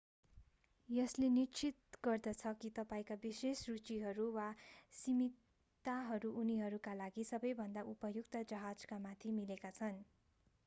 यसले निश्चित गर्दछ कि तपाईंका विशेष रुचिहरू र वा सीमितताहरू उनीहरूका लागि सबैभन्दा उपयुक्त जहाजका साथ मिलेका छन्